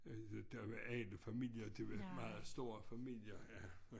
Der var alle familier de var meget store familier ja